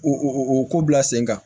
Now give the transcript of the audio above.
U u ko bila sen kan